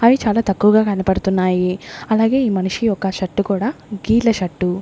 అవి చాలా తక్కువగా కనపడుతున్నాయి అలాగే ఈ మనిషి యొక్క షర్ట్ కూడ గీల షర్ట్ .